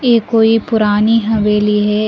ये कोई पुरानी हवेली है।